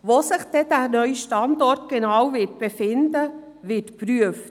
Wo sich der neue Standort dann genau befinden wird, wird geprüft.